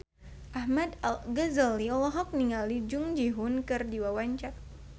Ahmad Al-Ghazali olohok ningali Jung Ji Hoon keur diwawancara